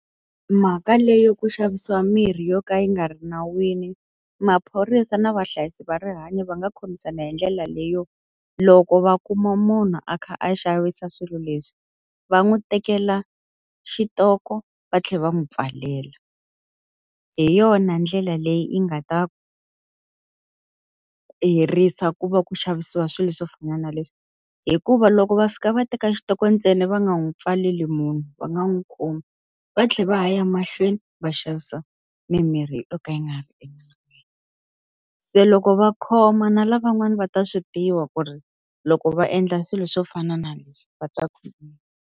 Mhaka leyi yo ku xavisiwa mirhi yo ka yi nga ri nawini, maphorisa na vahlayisi va rihanyo va nga khomisana hi ndlela leyo loko va kuma munhu a kha a xavisa swilo leswi, va n'wi tekela xi xitoko va tlhela va n'wi pfalela. Hi yona ndlela leyi yi nga ta herisa ku va ku xavisiwa swilo swo fana na leswi. Hikuva loko va fika va teka xitoko ntsena va nga n'wi pfaleli munhu va nga n'wi khomi, va tlhela va a ya mahlweni va xavisa mimirhi yo ka yi nga ri enawini. Se loko va khoma na lavan'wana va ta swi tiva ku ri loko va endla swilo swo fana na leswi va ta khomiwa.